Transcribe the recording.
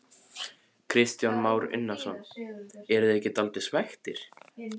Kristján Már Unnarsson: En eruð þið ekki dálítið svekktir?